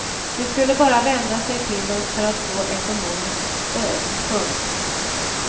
De skulle bara vända sig till oss för att få ekonomiskt stöd. punkt